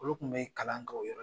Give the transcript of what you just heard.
Olu kun be kalan kɛ o yɔrɔ